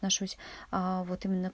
ношусь а вот именно